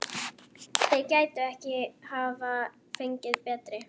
Þeir gætu ekki hafa fengið betri.